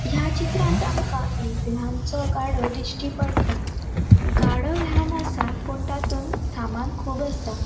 या चित्रांत आमका एक लहानसो गाडो दिष्टी पट्टा गाडो लहान असा पुण तातुन सामान खूब आसा.